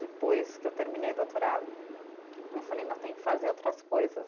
Depois que eu terminei o doutorado, eu falei, não, tem que fazer outras coisas.